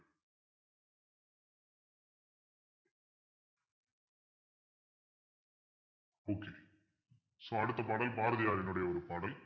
okay so அடுத்த பாடல் பாரதியாரினுடைய ஒரு பாடல்